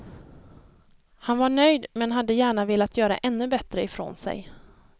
Han var nöjd men hade gärna velat göra ännu bättre ifrån sig.